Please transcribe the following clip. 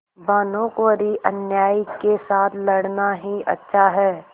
भानुकुँवरिअन्यायी के साथ लड़ना ही अच्छा है